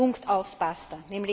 Punkt, aus, basta!